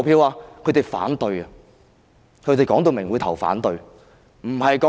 他們會反對，清楚表明會投反對票。